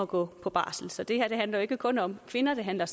gå på barsel så det her handler jo ikke kun om kvinder det handler